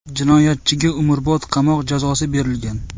Jinoyatchiga umrbod qamoq jazosi berilgan.